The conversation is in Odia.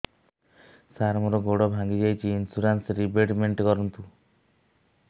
ସାର ମୋର ଗୋଡ ଭାଙ୍ଗି ଯାଇଛି ଇନ୍ସୁରେନ୍ସ ରିବେଟମେଣ୍ଟ କରୁନ୍ତୁ